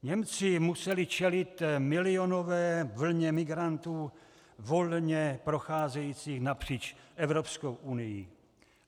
Němci museli čelit milionové vlně migrantů volně procházející napříč Evropskou unií.